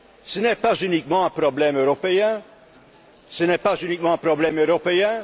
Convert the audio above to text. Ce n'est pas uniquement un problème européen.